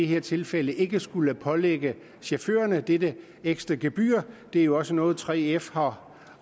her tilfælde ikke skulle pålægge chaufførerne dette ekstra gebyr det er jo også noget 3f har